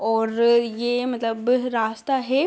और ये मतलब रास्ता है।